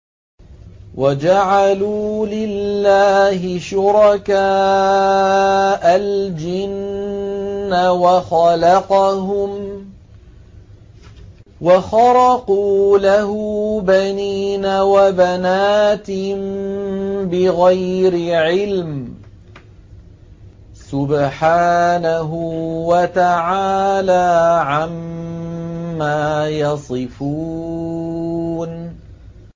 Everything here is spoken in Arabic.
وَجَعَلُوا لِلَّهِ شُرَكَاءَ الْجِنَّ وَخَلَقَهُمْ ۖ وَخَرَقُوا لَهُ بَنِينَ وَبَنَاتٍ بِغَيْرِ عِلْمٍ ۚ سُبْحَانَهُ وَتَعَالَىٰ عَمَّا يَصِفُونَ